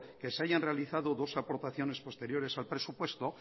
que se hayan realizado dos aportaciones posteriores al presupuesto